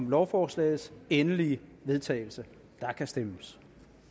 om lovforslagets endelige vedtagelse og der kan stemmes